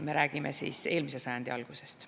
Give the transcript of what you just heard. Me räägime eelmise sajandi algusest.